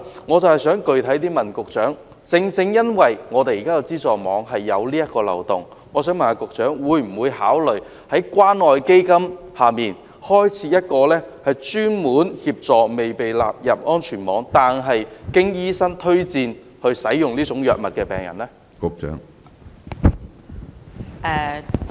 我想具體問局長，正正因為現有的安全網存在這個漏洞，局長會否考慮在關愛基金項下開設專項，以協助未被納入安全網但獲醫生推薦使用這些藥物的病人呢？